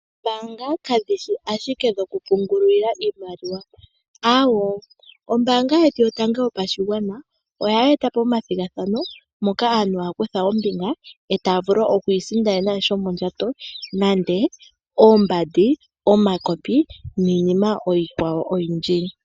Oombanga kadhi shi ashike dhokupungulwa iimaliwa. Ombaanga yetu yotango yopashigwana ohayi eta po omathigathano moka aantu haya kutha ombinga , e taya vulu oku isindanena sha shomondjato, nande oombandi , omakopi nayilwe iikwawo oyindji.